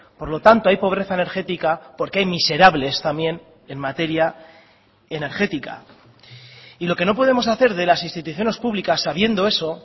por lo tanto hay pobreza energética porque hay miserables también en materia energética y lo que no podemos hacer de las instituciones públicas sabiendo eso